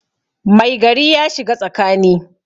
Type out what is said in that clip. Mai gari ya shiga tsakani